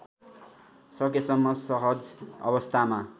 सकेसम्म सहज अवस्थामा